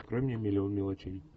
открой мне миллион мелочей